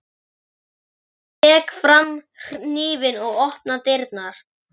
Ég tek fram hnífinn og opna dyrnar.